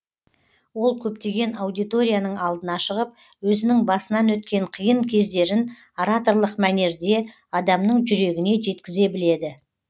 ол көптеген аудиторияның алдына шығып өзінің басынан өткен қиын кездерін ораторлық мәнерде адамның жүрегіне жеткізе біледі